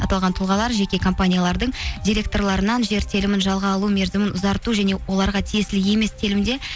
аталған тұлғалар жеке компаниялардың директорларынан жер телімін жалға алу мерзімін ұзарту және оларға тиесілі емес телімде